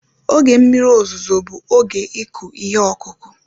Oge mmiri ozuzo bụ oge ịkụ ihe ọkụkụ